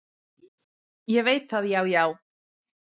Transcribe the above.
"""Ég veit það, já, já."""